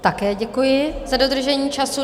Také děkuji za dodržení času.